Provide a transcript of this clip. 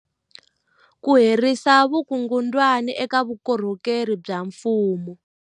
Ku herisa vukungundwani eka vukorhokeri bya mfumo